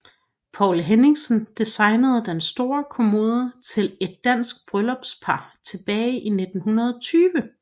Poul Henningsen designede den store kommode til et dansk bryllupspar tilbage i 1920